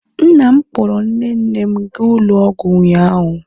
nna m kpọọrọ nne nne m gaa ụlọ ọgwụ ụnyaahụ